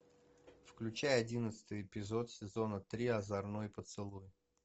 включай одиннадцатый эпизод сезона три озорной поцелуй